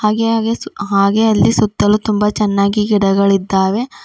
ಹಾಗೆ ಹಾಗೆ ಸೂಕ್ ಹಾಗೆ ಅಲ್ಲಿ ಸುತ್ತಲೂ ತುಂಬ ಚನ್ನಾಗಿ ಗಿಡಗಳಿದ್ದಾವೆ.